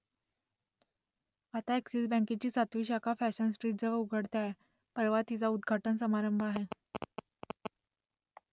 आता अ‍ॅक्सिस बँकेची सातवी शाखा फॅशन स्ट्रीटजवळ उघडते आहे परवा तिचा उद्घाटन समारंभ आहे